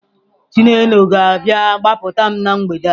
Chinelo ga-abịa gbapụta m na mgbede a.